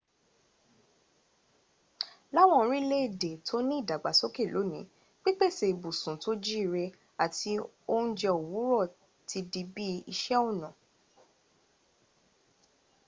láwọn orílèèdè tó ni ìdàgbàsóké lónìí pípèsè ibùsùn tó jíire àti oúnjẹ òwúrọ̀ ti di bí i iṣẹ̀ ọnà